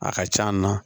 A ka c'an na